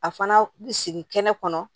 A fana bɛ sigi kɛnɛ kɔnɔ